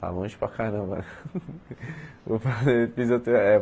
Está longe para caramba, né? Vou fazer fisiote eh